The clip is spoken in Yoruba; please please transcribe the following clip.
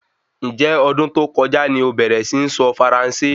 Njẹ́ ọdún tó kọjá ni obẹ̀rẹ̀ si ní sọ faransé?